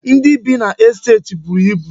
Ndị bi n'estet buru ibu.